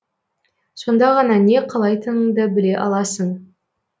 сонда ғана не қалайтыныңды біле аласың